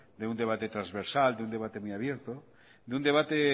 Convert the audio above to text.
de un debate transversal de un debate muy abierto de un debate